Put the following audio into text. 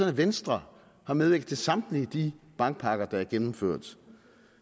at venstre har medvirket til samtlige de bankpakker der er gennemført